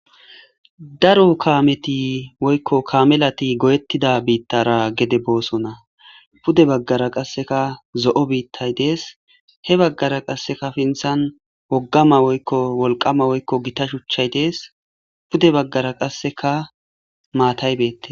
Daro kaameti woykko kamelati goyettida biittara gede boosona pude baggara qasseka zo'o biittay dees he baggara qasseka pinthan woggama woykko wolqama woykko gita shuchchay dees pude baggara qasseka maataybeette.